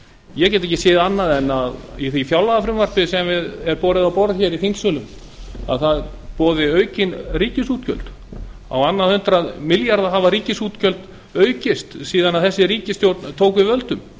ég get ekki séð annað í því fjárlagafrumvarpi sem borið er á borð hér í þingsölum en að það boði aukin ríkisútgjöld ríkisútgjöld hafa aukist um á annað hundrað milljarða síðan þessi ríkisstjórn tók við völdum